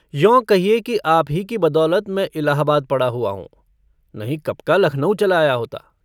यों कहिए कि आप ही की बदौलत मैं इलाहाबाद पड़ा हुआ हूँ नहीं कब का लखनऊ चला आया होता।